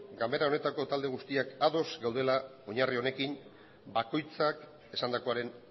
ganbara honetako talde guztiak ados gaudela oinarri honekin bakoitzak esandakoaren